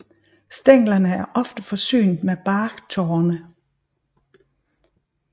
Stænglerne er ofte forsynet med barktorne